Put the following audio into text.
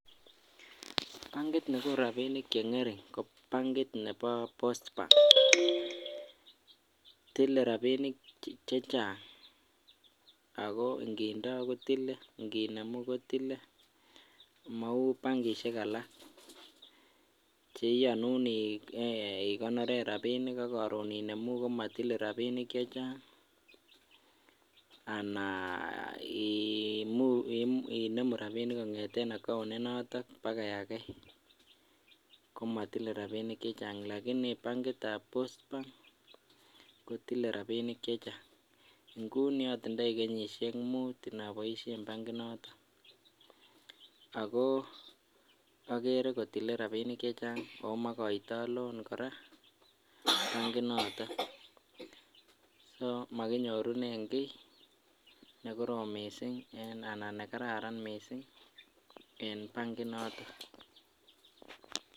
Bankit nekonu rabinik chengerin ko bankit nebo Bosber ako inkindoo kotile ikinemu kotile mou bankishek alak cheiyonu eeh ikonoren ak korun imemuumko motile rabinik che Chang anaa iiimuu inemu rabinik kongeten account initon baka ake komotile rabinik che Chang lakini bankitab Bosber kotile rabinik che Chang. Nguni otindoi kenyishek mut mdoboishen bankit noton akoo okere kotile rabinik che Chang omokoitok loan Koraa bankit noton so mokinyorunen kii nekorom missing ana nekararan missing en bankit noton.